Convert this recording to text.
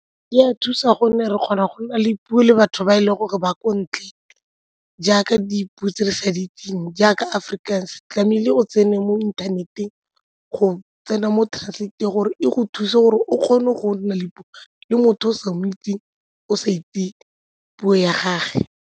Di a thusa gonne re kgona go na le puo le batho ba e leng gore ba ko ntle jaaka dipuo tse re sa di itseng jaaka Afrikaans, tlamehile o tsene mo inthaneteng go tsena mo gore e go thuse gore o kgone go nna le puo le motho o o sa mo itseng, o sa itse puo ya gage.